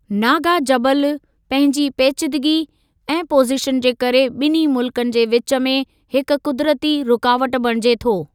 नागा जबलु, पंहिंजी पेचीदिगी ऐं पोज़ीशन जे करे, ॿिन्ही मुल्कनि जे विच में हिक क़ुदिरती रुकावट बणिजे थो।